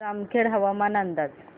जामखेड हवामान अंदाज